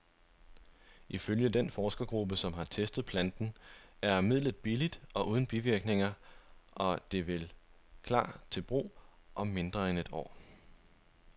Ifølge den forskergruppe, som har testet planten, er midlet billigt og uden bivirkninger, og det vil klar til brug om mindre end et år.